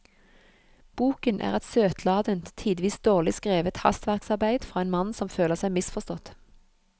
Boken er et søtladent, tidvis dårlig skrevet hastverksarbeid fra en mann som føler seg misforstått.